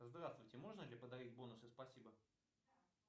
здравствуйте можно ли подарить бонусы спасибо